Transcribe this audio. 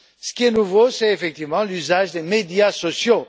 Ce qui est nouveau, c'est effectivement l'usage des médias sociaux.